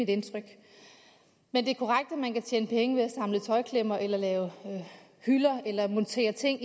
indtryk men det er korrekt at man kan tjene penge ved at samle tøjklemmer lave hylder eller montere ting